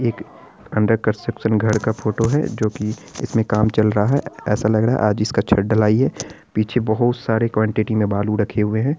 एक under construction घर का फोटो है जोकी इसमें काम चल रहा है| ऐसा लग रहा है आज ही इसका छत ढलाई है पीछे बहुत सारी क्वांटिटी में बालू रखे हुए हैं।